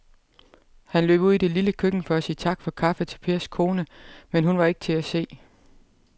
Han løb ud i det lille køkken for at sige tak for kaffe til Pers kone, men hun var ikke til at se.